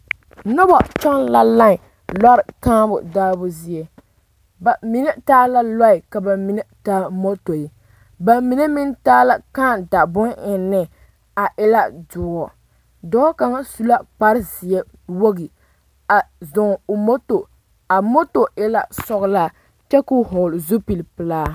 Noba kyɔŋ la line lɔre kaa daabo zie ba mine taa la lɔɛ ka ba mine taa motori ba mine meŋ taa la kaa da bonne eŋne a e la doɔ dɔɔ kaŋa su la kparezeɛ wogi a zɔɔ o moto a moto e la sɔglaa kyɛ ka o vɔgle zupilpelaa.